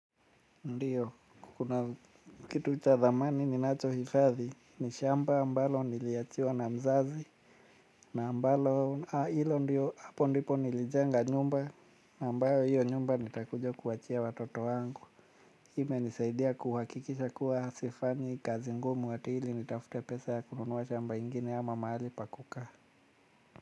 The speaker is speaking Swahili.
Ndiyo kuko na kitu cha thamani ninachohifadhi ni shamba ambalo niliachiwa na mzazi. Na ambalo hilo ndiyo hapo ndipo nilijenga nyumba na ambayo hiyo nyumba nitakuja kuachia watoto wangu. Hii imenisaidia kuhakikisha kuwa sifanyi kazi ngumu ati ili nitafute pesa ya kununua shamba ingine ama mahali pa kukaa.